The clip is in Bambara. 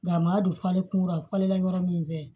Nka a ma don falen kunkura falen la yɔrɔ min fɛ